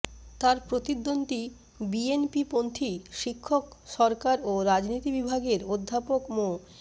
তার প্রতিদ্বন্দ্বি বিএনপিপন্থী শিক্ষক সরকার ও রাজনীতি বিভাগের অধ্যাপক মো